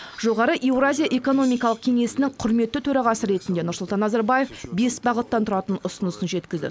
жоғары еуразия экономикалық кеңесінің құрметті төрағасы ретінде нұрсұлтан назарбаев бес бағыттан тұратын ұсынысынын жеткізді